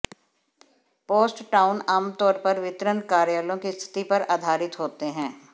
post town आमतौर पर वितरण कार्यालयों की स्थिति पर आधारित होते हैं